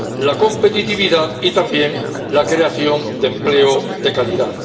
la competitividad y también la creación de empleo de calidad.